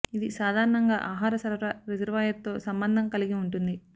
ఇది సాధారణంగా ఆహార సరఫరా రిజర్వాయర్ తో సంబంధం కలిగి ఉంటుంది